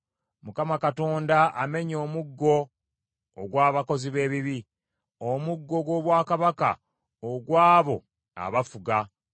Mukama Katonda amenye omuggo ogw’abakozi b’ebibi, omuggo gw’obwakabaka ogw’abo abafuga.